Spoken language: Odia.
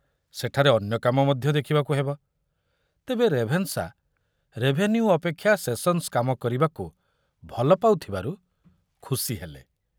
ସେଠାରେ ଅନ୍ୟ କାମ ମଧ୍ୟ ଦେଖିବାକୁ ହେବ, ତେବେ ରେଭେନ୍ସା ରେଭେନ୍ୟୁ ଅପେକ୍ଷା ସେସନ୍‌ସ୍‌ କାମ କରିବାକୁ ଭଲ ପାଉଥିବାରୁ ଖୁସି ହେଲେ।